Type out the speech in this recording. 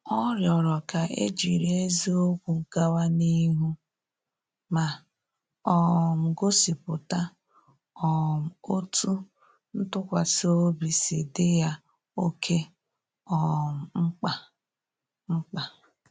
Ọ rịọrọ ka e jiri eziokwu gawa n’ihu ma um gosipụta um otú ntụkwasị obi si dị ya oke um mkpa mkpa